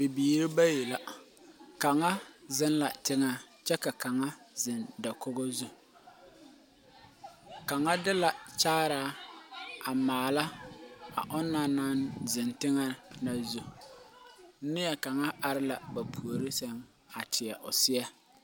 Bibiiri bayi la , kanga zeng la tenga kye ka kanga zeng dakogo zu kanga de la kyaaraa a maala a ɔna nang zeng tenga na zu neɛ kanga arẽ la ba poure seng a teɛ ɔ seɛ.